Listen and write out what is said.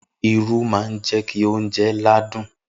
Irú má ń jẹ́kí oúnjẹ ládùn.